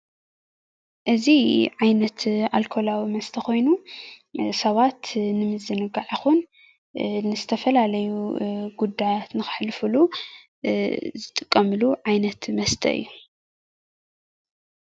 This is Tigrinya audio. እዚ ዓይነት ኣልኮላዊ መስተ ኮይኑ ሰባት ንምዝንጋዕ ይኩን ንዝተፈላለዩ ጉዳያት ንከሕልፉሉ ዝጥቀምሉ ዓይነት መስተ እዩ፡፡